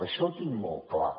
això ho tinc molt clar